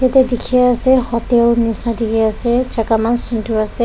Tu teke ase hotel neshna dekhe ase jaka man sundur ase.